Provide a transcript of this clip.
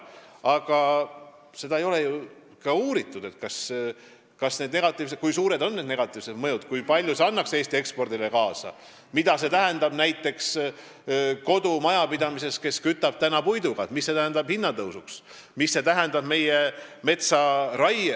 Praeguseks aga ei ole ju ka uuritud, kui suur on negatiivne mõju, kui palju see aitaks kaasa Eesti ekspordile, mida see tähendab näiteks kodumajapidamistele, kus praegu köetakse puiduga, või mis see tähendab hinnatõusule, metsaraiele jne.